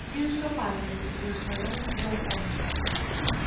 иди за скафандрами удовлетворённо сказал он